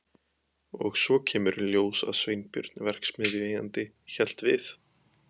Og svo kemur í ljós að Sveinbjörn verksmiðjueigandi hélt við